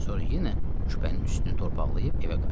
Sonra yenə küpənin üstünü torpaqlayıb evə qayıtdı.